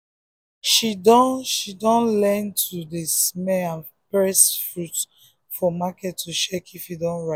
she dun she dun learn to dey smell and press fruit for market to check if e don ripe.